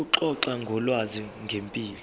ukuxoxa ngolwazi ngempilo